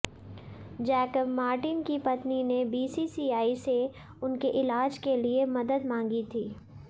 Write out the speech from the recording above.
Jacob Martin की पत्नी ने बीसीसीआई से उनके इलाज के लिए मदद मांगी थी